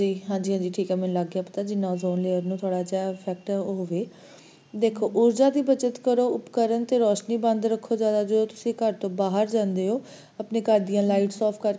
ਹਾਂਜੀ, ਹਾਂਜੀ ਮੈਨੂੰ ਲੱਗ ਗਿਆ ਪਤਾ ਜਿਸ ਨਾਲ ozone layer ਨੂੰ ਥੋੜ੍ਹਾ effect ਹੋਵੇ